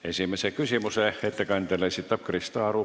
Esimese küsimuse ettekandjale esitab Krista Aru.